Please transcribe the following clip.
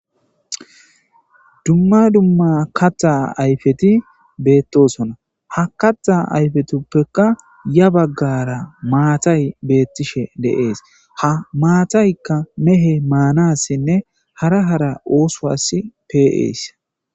Duma duma katha ayfeti betosona ha katha ayfetufeka ya bagara matay betishe de'es ha matayka meheye manasine hara hara osuwasi pe'esi